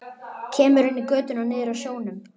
Kemur inn í götuna niður að sjónum.